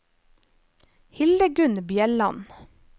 Hildegunn Bjelland